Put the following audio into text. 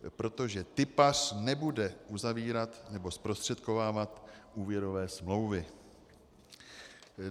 Protože tipař nebude uzavírat nebo zprostředkovávat úvěrové smlouvy.